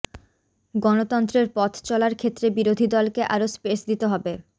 গণতন্ত্রের পথ চলার ক্ষেত্রে বিরোধী দলকে আরও স্পেস দিতে হবে